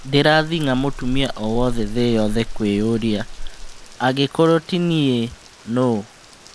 Ndĩrathĩng'a mũtumia o wothe thĩ yothe kwĩyũria, " angĩkorwo ti niĩ, nũũ ?